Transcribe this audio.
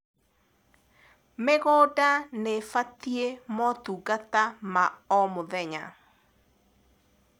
mĩgũnda nĩibatie motungata ma o mũthenya